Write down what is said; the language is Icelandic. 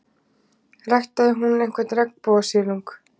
Ræktaði hún einhvern regnbogasilung?